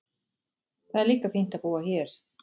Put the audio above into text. Það er líka fínt að búa hér.